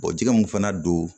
jɛgɛ mun fana don